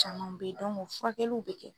Caman bɛ ye o furakɛliw bɛ kɛ.